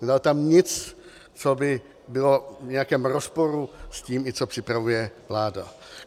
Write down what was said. Nedal tam nic, co by bylo v nějakém rozporu s tím, co připravuje vláda.